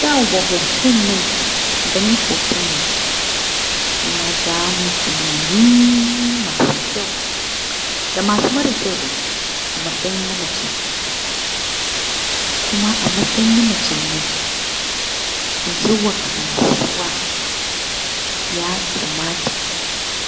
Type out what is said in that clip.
Yawa hoton nan ganin hoton na. Ya ja mun tunanani masu ƙyau da mara ƙyau a matsayi na na mace. Kuma a matsayin na macen na za ta iya zuwa kasuwa, ya kamata